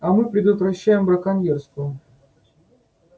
а мы предотвращаем браконьерство